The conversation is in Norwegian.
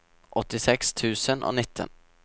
åttiseks tusen og nitten